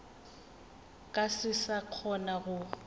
ka se sa kgona go